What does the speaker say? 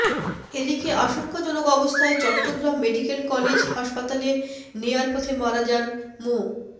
এদিকে আশঙ্কাজনক অবস্থায় চট্টগ্রাম মেডিকেল কলেজ হাসপাতালে নেয়ার পথে মারা যান মো